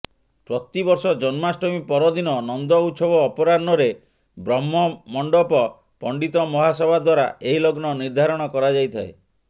ପ୍ରତିବର୍ଷ ଜନ୍ମାଷ୍ଟମୀ ପରଦିନ ନନ୍ଦଉତ୍ସବ ଅପରାହ୍ନରେ ବ୍ରହ୍ମମଣ୍ଡପ ପଣ୍ଡିତ ମହାସଭା ଦ୍ବାରା ଏହି ଲଗ୍ନ ନିର୍ଦ୍ଧାରଣ କରାଯାଇଥାଏ